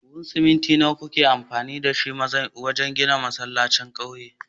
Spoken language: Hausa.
Buhun siminti nawa kuka yi amfani da shi wajen ginin masallacin ƙauyen?